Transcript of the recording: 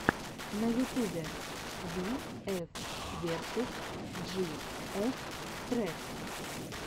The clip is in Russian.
на ютубе би эф версус джи эф трек